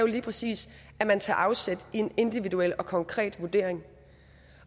lige præcis at man tager afsæt i en individuel og konkret vurdering